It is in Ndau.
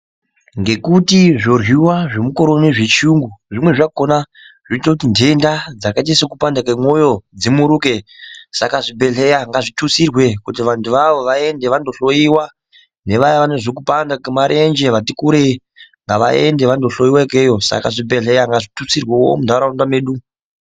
Ngekuti zvohliwa zvomukoro uno zvechiyungu zvimweni zvakona zvoite kuti ndenda dzakaita sekupanda kwemwoyo zvimuruke. Saka zvibhedhleya ngazvitutsirwe kuti vantu avavo vaende vandohloyiwa. Nevaya vanozwe kupanda kwemarenje vati kure, ngavaende vandohloyiwa ikweyo. Saka zvibhedhleya ngazvitutsirwewo muntaraunda medu.